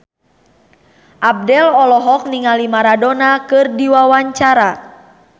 Abdel olohok ningali Maradona keur diwawancara